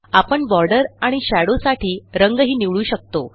आपण बॉर्डर आणि शेडो साठी रंगही निवडू शकतो